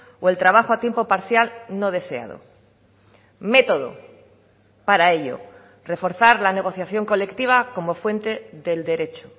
o el trabajo a tiempo parcial no deseado método para ello reforzar la negociación colectiva como fuente del derecho